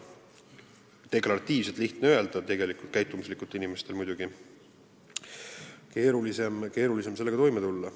Deklaratiivselt on seda lihtne öelda, käitumuslikult on inimestel muidugi keerulisem sellega toime tulla.